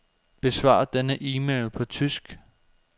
Besvar denne e-mail på tysk.